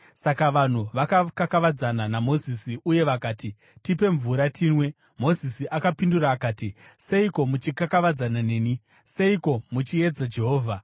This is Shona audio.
Saka vanhu vakakakavadzana naMozisi uye vakati, “Tipe mvura tinwe.” Mozisi akapindura akati, “Seiko muchikakavadzana neni? Seiko muchiedza Jehovha?”